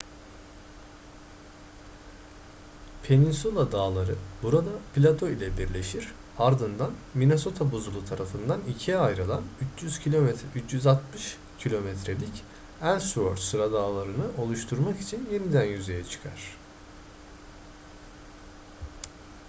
peninsula dağları burada plato ile birleşir ardından minnesota buzulu tarafından ikiye ayrılan 360 km'lik ellsworth sıradağlarını oluşturmak için yeniden yüzeye çıkar